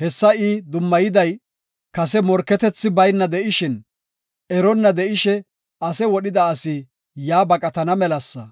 Hessa I dummayiday kase morketethi bayna de7ishin, eronna de7ishe ase wodhida asi yaa baqatana melasa.